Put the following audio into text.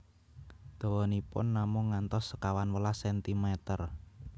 Dawanipun namung ngantos sekawan welas sentimer